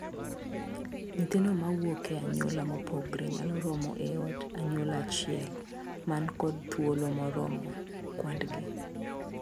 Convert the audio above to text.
Nyithindo mawuok e anyuola mopogore nyalo romo e od anyuola achiel man kod thuolo moromo kwandgi.